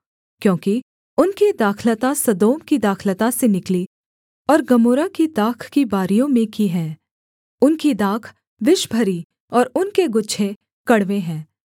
क्योंकि उनकी दाखलता सदोम की दाखलता से निकली और गमोरा की दाख की बारियों में की है उनकी दाख विषभरी और उनके गुच्छे कड़वे हैं